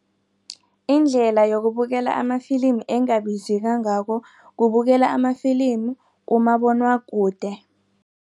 Indlela yokubukela amafilimi engabizikangako kubukela amafilimi kumabonwakude.